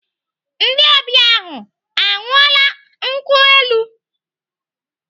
Ndị ọbịa ahụ ahu aṅụọla nkwụ elu?